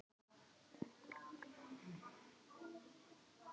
Þau líta bara út eins og við, þetta fólk.